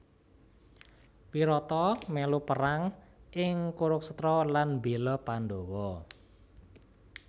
Wirata melu Perang ing Kurukshetra lan mbela Pandawa